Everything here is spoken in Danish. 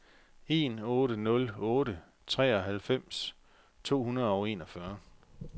en otte nul otte treoghalvfems to hundrede og enogfyrre